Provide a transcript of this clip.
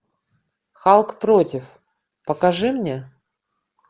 халк против покажи мне